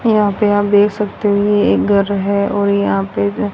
यहां पे आप देख सकते हो ये एक घर है और यहां पे--